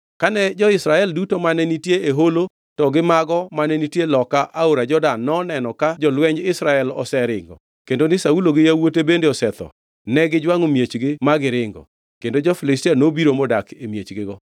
Kane jo-Israel duto mane nitie e holo to gi mago mane nitie loka aora Jordan noneno ka jolwenj Israel oseringo kendo ni Saulo gi yawuote bende osetho, negijwangʼo miechgi ma giringo. Kendo jo-Filistia nobiro modak e miechgigo.